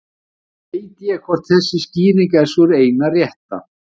Ekki veit ég hvort þessi skýring er sú eina rétta.